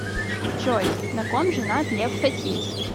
джой на ком женат лев хасис